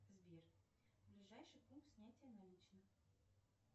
сбер ближайший пункт снятия наличных